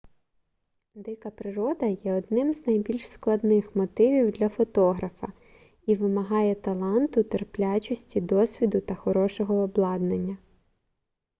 дика природа є одним з найбільш складних мотивів для фотографа і вимагає таланту терплячості досвіду та хорошого обладнання